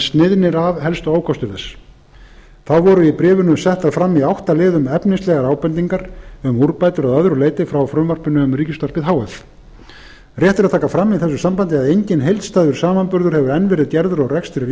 sniðnir af helstu ókostir þess þá voru í bréfinu settar fram í átta liðum efnislegar ábendingar um úrbætur að öðru leyti frá frumvarpinu um ríkisútvarpið h f rétt er að taka fram í þessu sambandi að enginn heildstæður samanburður hefur enn verið gerður á rekstri